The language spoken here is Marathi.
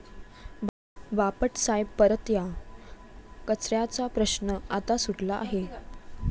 बापट साहेब परत या, कचऱ्याचा प्रश्न आता सुटला आहे'